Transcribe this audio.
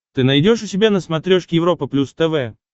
ты найдешь у себя на смотрешке европа плюс тв